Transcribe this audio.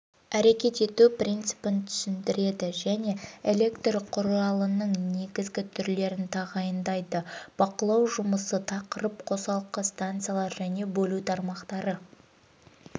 әрекет ету принципін түсіндіреді және электр құралының негізгі түрлерін тағайындайды бақылау жұмысы тақырып қосалқы станциялар және бөлу тармақтары